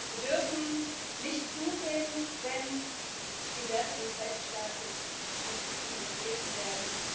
Wir dürfen nicht zusehen, wenn die Werte des Rechtsstaates mit Füßen getreten werden.